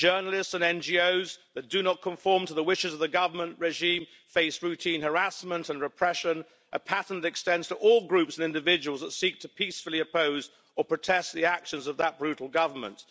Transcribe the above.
Journalists and NGOs that do not conform to the wishes of the Government regime face routine harassment and repression, a pattern that extends to all groups and individuals that seek peacefully to oppose or protest against the actions of that brutal Government.